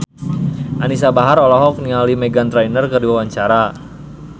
Anisa Bahar olohok ningali Meghan Trainor keur diwawancara